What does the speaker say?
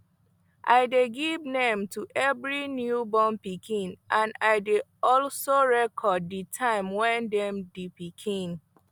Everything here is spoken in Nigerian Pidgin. i dey give name to every new born pikin and i dey also record the time when dem the pikin